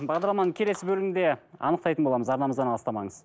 бағдарламаның келесі бөлімінде анықтайтын боламыз арнамыздан алыстамаңыз